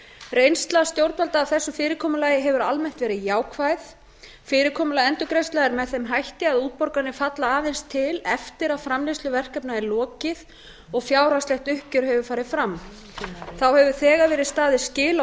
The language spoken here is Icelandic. reynsla stjórnvalda af þessu fyrirkomulagi hefur almennt verið jákvæð fyrirkomulag endurgreiðslna er með þeim hætti að útborganir falla aðeins til eftir að framleiðslu verkefna er lokið og fjárhagslegt uppgjör hefur farið fram þá hefur þegar verið staðið skil á